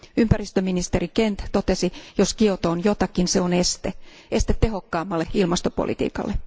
Ympäristöministeri Kent totesi, jos Kioto on jotakin, se on este, este tehokkaammalle ilmastopolitiikalle.